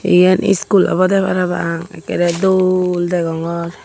eyan eskul obode parapang ekkorey dol deongor.